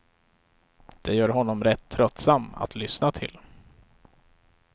Det gör honom rätt tröttsam att lyssna till.